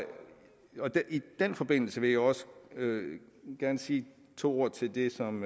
den forbindelse vil jeg også gerne sige to ord til det som